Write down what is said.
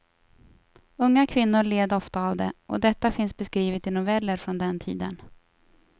Unga kvinnor led ofta av det, och detta finns beskrivet i noveller från den tiden.